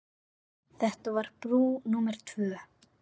Þetta var brú númer tvö.